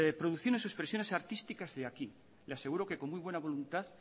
producciones o expresiones artísticas de aquí le aseguro que con muy buena voluntad